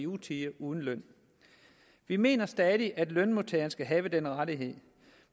utide uden løn vi mener stadig at lønmodtageren skal have denne rettighed